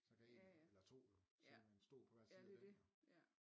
Så kan 1 eller 2 jo sidde med en stol på hver side af den jo